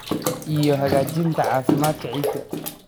iyo hagaajinta caafimaadka ciidda.